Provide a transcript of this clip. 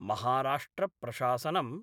महाराष्ट्रप्रशासनम्